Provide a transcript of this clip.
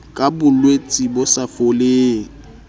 ka bolwetse bo sa foleng